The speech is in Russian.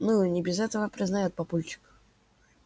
ну не без этого признаёт папульчик